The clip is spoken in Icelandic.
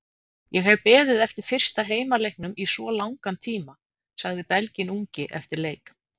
Ég hef beðið eftir fyrsta heimaleiknum í svo langan tíma, sagði Belginn ungi eftir leik.